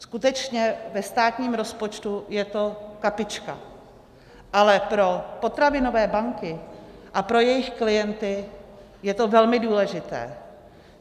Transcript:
Skutečně ve státním rozpočtu je to kapička, ale pro potravinové banky a pro jejich klienty je to velmi důležité.